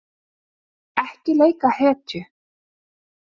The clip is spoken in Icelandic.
Ekki leika hetju